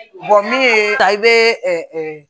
min ye i bɛ